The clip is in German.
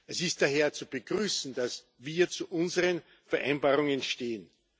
Es ist daher zu begrüßen, dass wir zu unseren Vereinbarungen stehen.